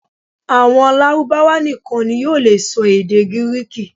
Àwọn Lárúbáwá nìkan ni yóò lè sọ èdè Gíríkì